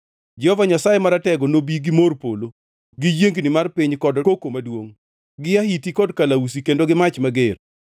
Jehova Nyasaye Maratego nobi gi mor polo gi yiengni mar piny kod koko maduongʼ, gi ahiti kod kalausi kendo gi mach mager.